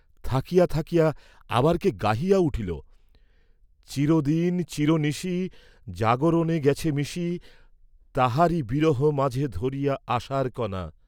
থাকিয়া থাকিয়া আবার কে গাহিয়া উঠিল, 'চির দিন চির নিশি, জাগরণে গেছে মিশি, তাহারি বিরহ মাঝে ধরিয়া আশার কণা!'